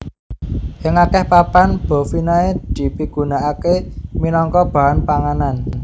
Ing akèh papan bovinae dipigunakaké minangka bahan panganan